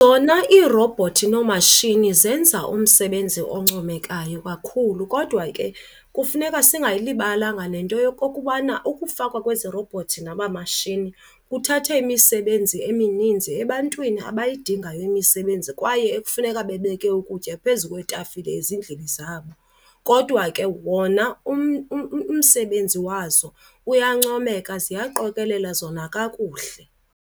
Zona iirobhothi noomatshini zenza umsebenzi oncomekayo kakhulu, kodwa ke kufuneka singayilibalanga nento yokokubana ukufakwa kwezi robots naba mashini kuthathe imisebenzi emininzi ebantwini abayidingayo imisebenzi kwaye ekufuneka bebeke ukutya phezu kwetafile ezindlini zabo. Kodwa ke wona umsebenzi wazo uyancomeka, ziyaqokelela zona kakuhle.